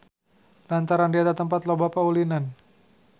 Lantaran di eta tempat loba paulinan.